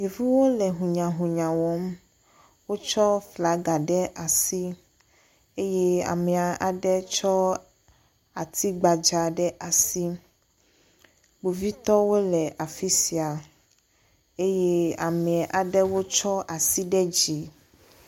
Ɖeviwo le hunyahunya wɔm, wotsɔ flaga ɖe asi eye ame aɖe tsɔ ati gbadza ɖe asi. Kpovitɔwo le afi sia eye ame aɖewo tsɔa si ɖe dzi.